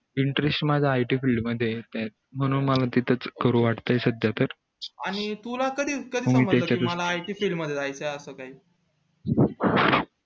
interest माझा it field मध्ये ये म्हणून मला तिथे च करू वाटय सध्या तरआणि तुला तुला कधी समजलं it field मध्ये जायचंय असं काही